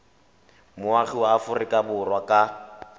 moagi wa aforika borwa ka